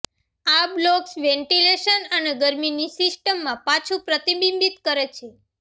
આ blocks ventilation અને ગરમીને સિસ્ટમમાં પાછું પ્રતિબિંબિત કરે છે